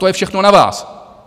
To je všechno na vás.